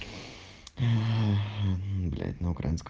блять